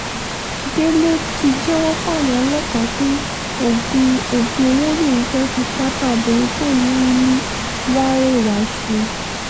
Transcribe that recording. délé ti jẹ́wọ́ fáwọn ọlọ́pàá pé oògùn oògùn owó lòun fẹ́ẹ́ fi pátá obìnrin tóun mú ní wàréwà ṣe